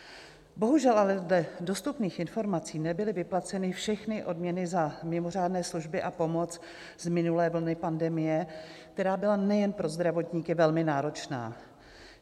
Bohužel ale dle dostupných informací nebyly vyplaceny všechny odměny za mimořádné služby a pomoc z minulé vlny pandemie, která byla nejen pro zdravotníky velmi náročná.